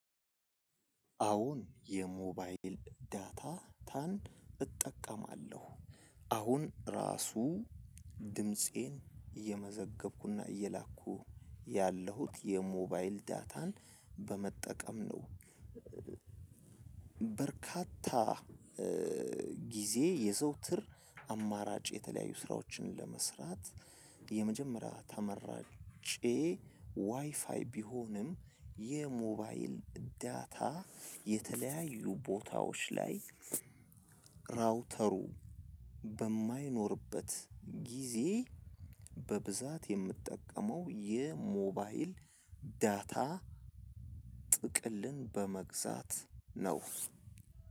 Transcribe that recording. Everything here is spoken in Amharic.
አወን የሞባይል ዳታን እጠቀማለሁ አሁን ራሱ ድምፄን እየመዘገብኩና እየላኩ ያለሁት የሞባይል ዳታን በመጠቀም ነው። በርካታ ጊዜ የዘውትር አማራጭ የተለያዩ ስራዎችን ለመስራት የመጀመሪያ ተመራጬ ዋይፋይ ቢሆንም የሞባይል ዳታ የተለያዩ ቦታዎች ላይ ራውተሩ በማይኖርበት ጊዜ በብዛት የምጠቀመው የሞባይል ዳታ ጥቅልን በመግዛት ነው።